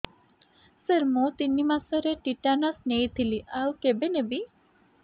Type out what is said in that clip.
ସାର ମୁ ତିନି ମାସରେ ଟିଟାନସ ନେଇଥିଲି ଆଉ କେବେ ନେବି